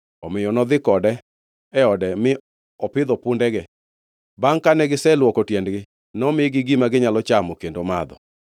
Omiyo nodhi kode e ode mi opidho pundege. Bangʼ kane giselwoko tiendegi, nomigi gima ginyalo chamo kendo madho.